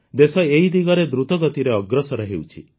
ଦେଶ ଏହି ଦିଗରେ ଦ୍ରୁତଗତିରେ ଅଗ୍ରସର ହେଉଛି